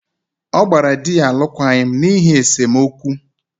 ọ gbara di ya alụkwaghịm n’ihi esemokwu